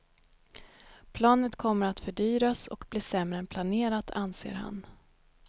Planet kommer att fördyras och bli sämre än planerat, anser han.